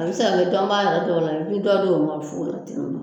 A bi se ka kɛ i dɔnbaa yɛrɛ dɔw la i bɛ dɔ d'olu ma fu la